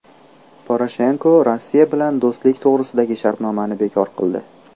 Poroshenko Rossiya bilan do‘stlik to‘g‘risidagi shartnomani bekor qildi.